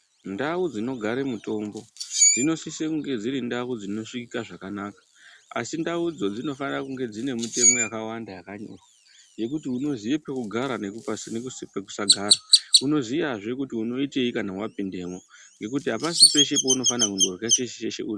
Ndau dzinogare mutambo dzinosise kunge dziri ndau dzinosvikika zvakanaka, asi ndaudzo dzinofanire kunge dzinemitemo yakawanda yakanyora, yekuti unoziye pekugara nepekusagara, unoziyazve kuti unoitei kana wapindemwo, ngekuti apasi peshe paunofanira kundorya cheshe cheshe....